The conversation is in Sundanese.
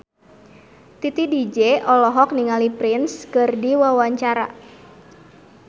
Titi DJ olohok ningali Prince keur diwawancara